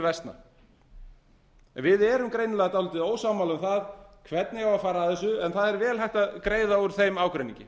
versna en við erum greinilega dálítið ósammála um hvernig á að fara að þessu en það er vel hægt að greiða úr þeim ágreiningi